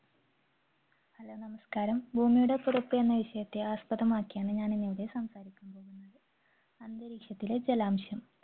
Hello നമസ്കാരം ഭൂമിയുടെ തുടക്കം എന്ന വിഷയത്തെ ആസ്‍പദമാക്കിയാണ് ഞാൻ ഇന്ന് ഇവിടെ സംസാരിക്കുന്നത്, അന്തരീക്ഷത്തിലെ ജലാംശം.